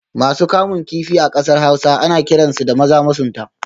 Masu kamun kifi a kasar Hausa ana kiransu da Maza masunta